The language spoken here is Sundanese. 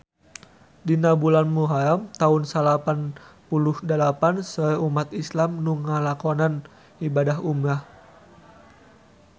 Dina bulan Muharam taun salapan puluh dalapan seueur umat islam nu ngalakonan ibadah umrah